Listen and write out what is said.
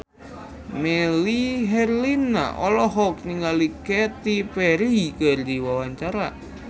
Melly Herlina olohok ningali Katy Perry keur diwawancara